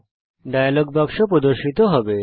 একটি ডায়লগ বাক্স প্রর্দশিত হবে